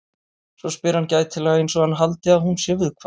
Svo spyr hann gætilega einsog hann haldi að hún sé viðkvæm.